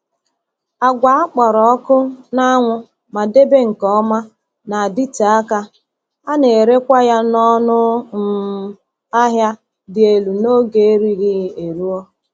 Agwa a kpọrọ ọkụ n’anwụ ma debee nke ọma na-adịte aka, a na-erekwa ya n’ọnụ um ahịa dị elu n’oge erighị eruo.